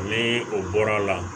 Ni o bɔra a la